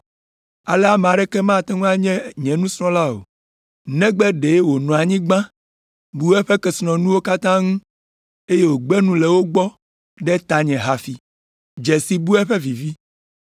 Ale ame aɖeke mate ŋu anye nye nusrɔ̃la o, negbe ɖe wònɔ anyi gbã, bu eƒe kesinɔnuwo katã ŋu, eye wògbe nu le wo gbɔ ɖe tanye hafi!